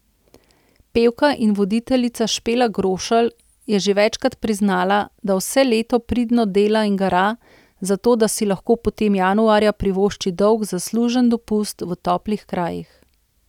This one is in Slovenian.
Pevka in voditeljica Špela Grošelj je že večkrat priznala, da vse leto pridno dela in gara, zato da si lahko potem januarja privošči dolg zaslužen dopust v toplih krajih.